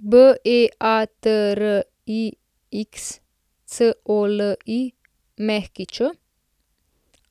Beatrix Colić,